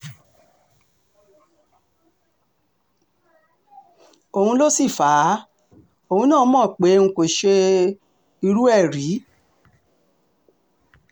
òun ló sì fà um á òun náà mọ́ pé n kò ṣe um irú ẹ̀ rí